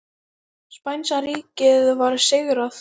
Spænska ríkið var sigrað.